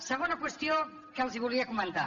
segona qüestió que els volia comentar